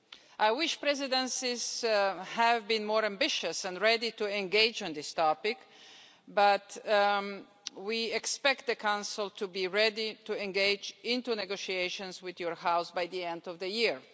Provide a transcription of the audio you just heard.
I wish presidencies had been more ambitious and ready to engage on this topic, but we expect the Council to be ready to engage into negotiations with your House by the end of the year.